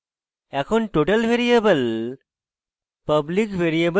এখন total variable